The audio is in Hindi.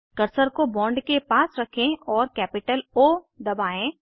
कर्सर को बॉन्ड के पास रखें और कैपिटल ओ दबाएं